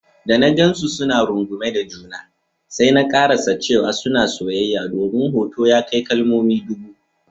Da na gansu suna rungume da juna, sai na karasa cewa suna soyayya domin hoto ya kai kalmomi ɗubu.